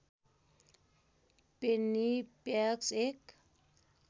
Penney packs एक